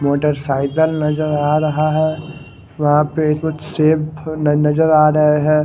Motorcycle नजर आ रह है वहा पे कुछ सेब नजर आ रहे है।